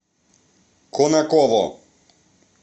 конаково